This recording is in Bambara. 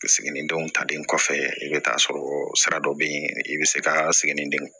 Siginidenw talen kɔfɛ i bɛ taa sɔrɔ sira dɔ bɛ yen i bɛ se ka siginidenw